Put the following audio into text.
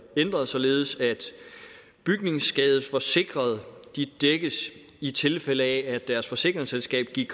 ændret således at bygningsskadesforsikrede dækkes i tilfælde af at deres forsikringsselskab er